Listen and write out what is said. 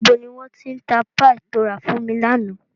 Ibo ni wọn ti ń tá "Páì" to ra fún mi lànà?